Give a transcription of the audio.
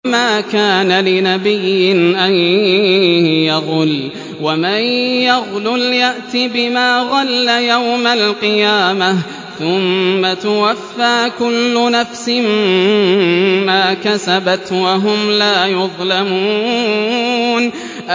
وَمَا كَانَ لِنَبِيٍّ أَن يَغُلَّ ۚ وَمَن يَغْلُلْ يَأْتِ بِمَا غَلَّ يَوْمَ الْقِيَامَةِ ۚ ثُمَّ تُوَفَّىٰ كُلُّ نَفْسٍ مَّا كَسَبَتْ وَهُمْ لَا يُظْلَمُونَ